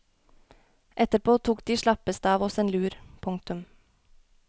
Etterpå tok de slappeste av oss en lur. punktum